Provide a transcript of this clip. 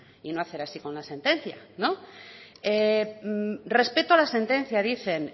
y no hacer así con la sentencia no respeto a la sentencia dicen